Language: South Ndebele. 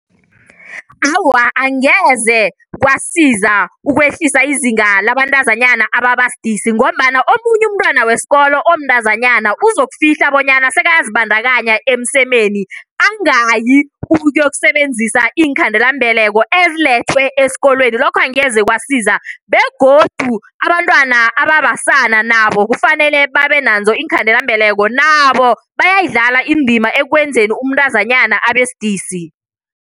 Awa, angeze kwasiza ukwehlisa izinga labantazanyana ababa sidisi ngombana omunye umntwana wesikolo omntazanyana uzokufihla bonyana sekayazibandakanya emsemeni. Angayi ukuyokusebenzisa iinkhandelambeleko ezilethwe esikolweni, lokho angeze kwasiza begodu abantwana ababasana nabo kufanele babe nazo iinkhandelambeleko nabo bayayidlala indima ekwenzeni umntazanyana abesidisi.